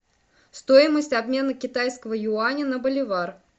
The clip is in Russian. стоимость обмена китайского юаня на боливар